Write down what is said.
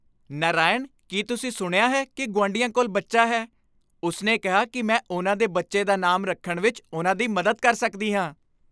ਨਾਰਾਇਣ, ਕੀ ਤੁਸੀਂ ਸੁਣਿਆ ਹੈ ਕਿ ਗੁਆਂਢੀਆਂ ਕੋਲ ਬੱਚਾ ਹੈ? ਉਸਨੇ ਕਿਹਾ ਕਿ ਮੈਂ ਉਹਨਾਂ ਦੇ ਬੱਚੇ ਦਾ ਨਾਮ ਰੱਖਣ ਵਿੱਚ ਉਹਨਾਂ ਦੀ ਮਦਦ ਕਰ ਸਕਦੀ ਹਾਂ।